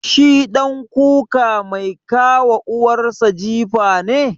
Shi ɗan kuka mai ka wa uwar sa jifa ne?